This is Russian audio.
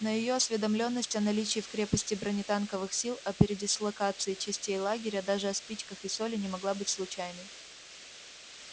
но её осведомлённость о наличии в крепости бронетанковых сил о передислокации частей лагеря даже о спичках и соли не могла быть случайной